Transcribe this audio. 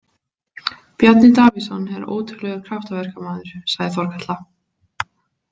Bjarni Davíðsson er ótrúlegur kraftaverkamaður, sagði Þorkatla.